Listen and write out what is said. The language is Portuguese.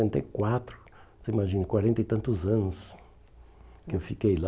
e quatro. você imagina, quarenta e tantos anos que eu fiquei lá.